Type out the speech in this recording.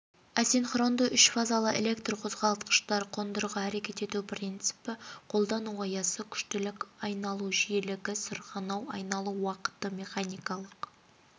асинхронды үшфазалы электрқозғалтқыштар қондырғы әрекет ету принципі қолдану аясы күштілік айналу жиілігі сырғанау айналу уақыты механикалық